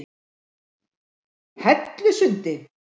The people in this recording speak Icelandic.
Hellusundi